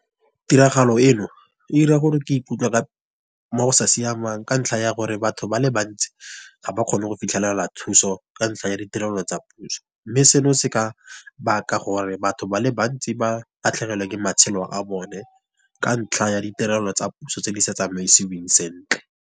Tiragalo e no, ira gore ke ikutlwa mo go sa siamang. Ka ntlha ya gore batho ba le bantsi ga ba kgone go fitlhelela thuso, ka ntlha ya ditirelo tsa puso. Mme seno se ka baka gore batho ba le bantsi ba latlhegelwe ke matshelo a bone ka ntlha ya ditirelo tsa puso tse di sa tsamaisiwang sentle.